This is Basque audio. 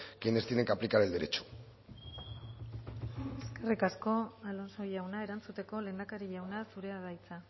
quienes tienen que aplicar el derecho eskerrik asko alonso jauna erantzuteko lehendakari jauna zurea da hitza